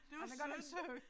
Det var sødt